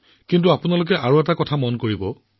কিন্তু আৰু এটা কথা বিবেচনা কৰিব লাগিব